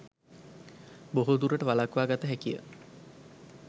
බොහෝ දුරට වළක්වා ගත හැකිය.